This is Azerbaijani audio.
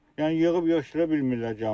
Yəni yığıb yeşləyə bilmirlər camaat.